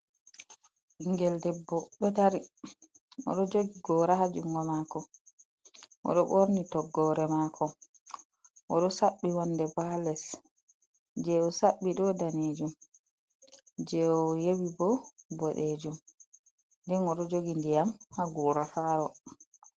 Ɓingel debbo ɗo dari o ɗo jogi gora ha jungo mako, o ɗo ɓorni toggore mako, o ɗo saɓɓi wonde ba ha les, je o saɓɓi ɗo danejum, je o yewi bo boɗejum, den o ɗo jogi ndiyam ha gora faro.